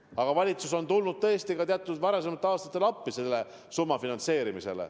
Aga valitsus on tõesti varasematel aastatel tulnud appi niisuguse muudatuse finantseerimisel.